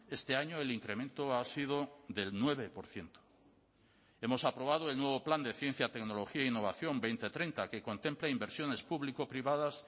este año el incremento ha sido del nueve por ciento hemos aprobado el nuevo plan de ciencia tecnología e innovación dos mil treinta que contempla inversiones público privadas